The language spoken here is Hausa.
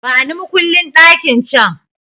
Bani makullin ɗakin can!